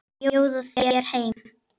Að bjóða þér heim.